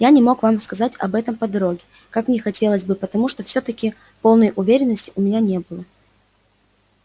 я не мог вам сказать об этом по дороге как не хотелось бы потому что всё-таки полной уверенности у меня не было